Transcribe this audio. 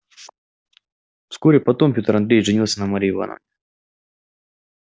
вскоре потом пётр андреевич женился на марье ивановне